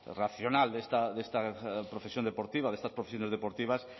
racional de esta profesión deportiva de estas profesiones deportivas